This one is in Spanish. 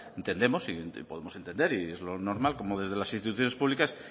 entendemos y podemos entender y es lo normal cómo desde las instituciones públicas